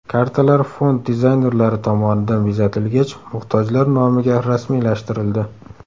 Kartalar fond dizaynerlari tomonidan bezatilgach, muhtojlar nomiga rasmiylashtirildi.